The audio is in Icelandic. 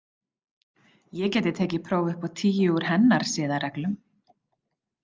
Ég gæti tekið próf upp á tíu úr hennar siðareglum.